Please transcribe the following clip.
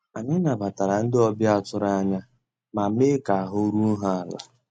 Ànyị́ nabàtàrà ndị́ ọ̀bịá tụ̀rụ̀ ànyá má meé ká àhụ́ rúó há àlà.